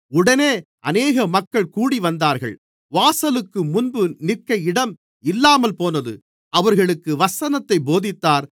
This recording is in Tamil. உடனே அநேக மக்கள் கூடிவந்தார்கள் வாசலுக்குமுன்பு நிற்க இடம் இல்லாமல்போனது அவர்களுக்கு வசனத்தைப் போதித்தார்